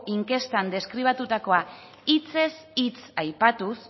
inkestan deskribatutako hitzez hitz aipatuz